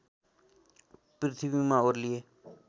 पृथ्वीमा ओर्लिए